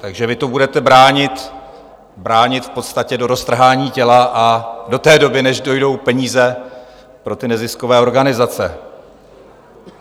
Takže vy to budete bránit v podstatě do roztrhání těla a do té doby, než dojdou peníze pro ty neziskové organizace.